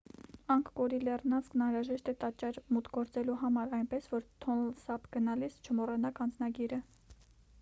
անգկորի լեռնանցքն անհրաժեշտ է տաճար մուտք գործելու համար այնպես որ թոնլ սափ գնալիս չմոռանաք անձնագիրը